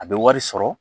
A bɛ wari sɔrɔ